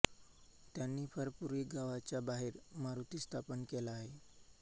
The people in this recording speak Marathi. त्यांनी फार पूर्वी गावाच्या बाहेर मारुती स्थापन केला आहे